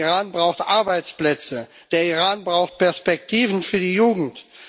Der Iran braucht Arbeitsplätze, der Iran braucht Perspektiven für die Jugend.